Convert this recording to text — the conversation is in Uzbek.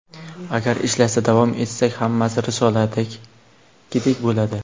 Agar ishlashda davom etsak, hammasi risoladagidek bo‘ladi.